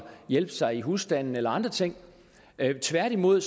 hjælpe sig i husstanden eller andre ting tværtimod